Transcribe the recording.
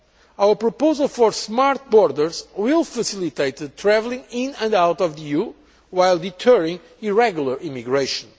Our proposal for smart borders' will facilitate travelling in and out of the EU while deterring irregular immigration.